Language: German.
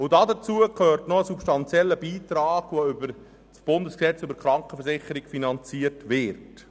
Darin eingeschlossen ist ein substanzieller Beitrag, der über das Bundesgesetz über die Krankenversicherung vom 18. März 1994 (KVG) finanziert wird.